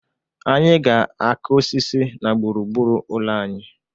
Anyị ga-akụ osisi na gburu gburu ụlọ anyị.